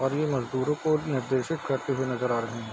और यह मजदूरों को निर्देशित करते हुए नजर आ रहे है।